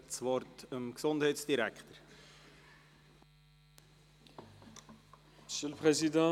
Ich gebe das Wort dem Gesundheitsdirektor.